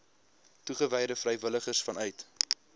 toegewyde vrywilligers vanuit